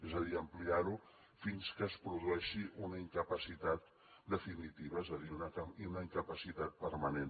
és a dir ampliar ho fins que es produeixi una incapacitat definitiva és a dir una incapacitat permanent